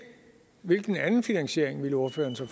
hvilken anden finansiering ville ordføreren så